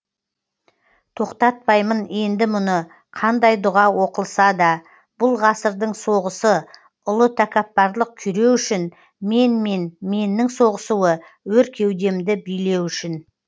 тоқтатпаймын енді мұны қандай дұға оқылса да бұл ғасырдың соғысы ұлы тәкаппарлық күйреу үшін мен мен меннің соғысуы өр кеудемді билеу үшін